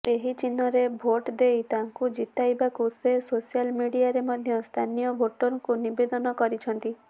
ଏହି ଚିହ୍ନରେ ଭୋଟ୍ ଦେଇ ତାଙ୍କୁ ଜିତାଇବାକୁ ସେ ସୋଶାଲ୍ ମିଡିଆରେ ମଧ୍ୟ ସ୍ଥାନୀୟ ଭୋଟରଙ୍କୁ ନିବେଦନ କରିଛନ୍ତି